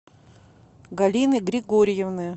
галины григорьевны